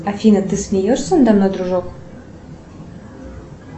афина ты смеешься надо мной дружок